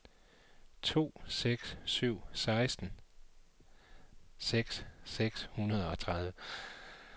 to seks syv seks seksten seks hundrede og tredive